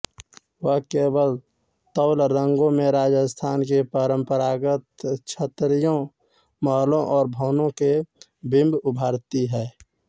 वह केवल तैलरंगों में राजस्थान की परम्परागत छतरियों महलों और भवनों के बिम्ब उभारती हैं